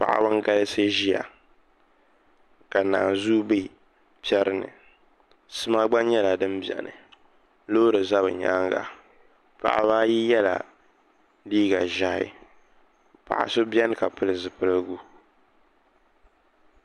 Paɣaba n galisi ʒiya ka naanzuu bɛ piɛri ni sima gba nyɛla din biɛni loori ʒɛ bi nyananga paɣaba ayi yɛla liiga ʒiɛhi paɣa so biɛni ka pili zipiligu